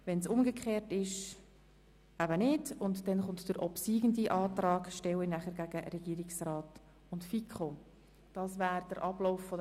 Danach stelle ich den obsiegenden Antrag dem Antrag des Regierungsrats gegenüber.